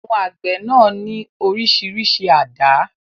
Àwọn àgbẹ̀ náà ní oríṣiríṣi àdá.